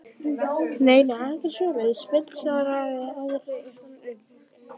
Nei, nei, ekkert svoleiðis fullvissaði Ari hann um.